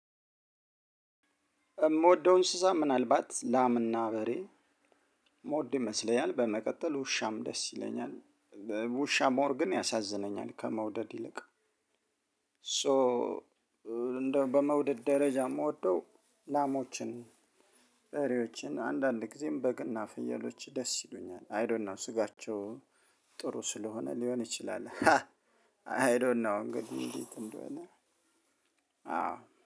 የምወደው እንስሳ ምናልባት ላም እና በሬ የምወድ ይመስለኛል በመቀጠል ውሻም ደስ ይለኛል። ውሻ ሞር ግን ያሳዝነኛል ከመውደድ ይልቅ። ሶ እንደው በመውደድ ደረጃ የምወደው ላሞችን። በሬዎችን አንዳንድ ጊዜም በግና ፍየሎች ደስ ይሉኛል አይ ዶንኖው ስጋቸው ጥሩ ስለሆነ ሊሆን ይችላል። አይ ዶንኖው እንግዲህ እንዴት እንደሆነ አዎ